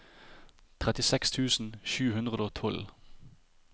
trettiseks tusen sju hundre og tolv